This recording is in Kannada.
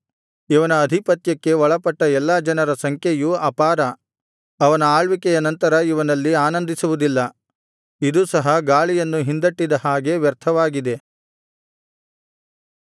ಇವನ ಅಧಿಪತ್ಯಕ್ಕೆ ಒಳಪಟ್ಟ ಎಲ್ಲಾ ಜನರ ಸಂಖ್ಯೆಯು ಅಪಾರ ಅವನ ಆಳ್ವಿಕೆಯ ನಂತರ ಇವನಲ್ಲಿ ಆನಂದಿಸುವುದಿಲ್ಲ ಇದೂ ಸಹ ಗಾಳಿಯನ್ನು ಹಿಂದಟ್ಟಿದ ಹಾಗೆ ವ್ಯರ್ಥವಾಗಿದೆ